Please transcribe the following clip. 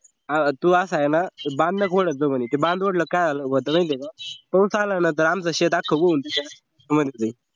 आह तू असा आहे ना बांध नको वढत जाऊ म्हणे ते बांध वाढला कि काय झालं होत माहितेय का पाऊस आल्यानंतर आमचं शेत अक्ख भरतय